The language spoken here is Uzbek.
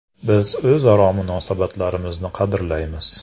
Biz o‘zaro munosabatlarimizni qadrlaymiz.